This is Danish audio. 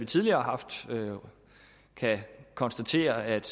tidligere har haft kan konstatere at